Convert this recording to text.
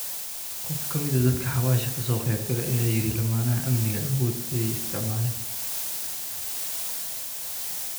Qof kamid ah dadka xawasha kasoqebkale aya yiri lamaha aamniga aawodh ayay isticmaleen.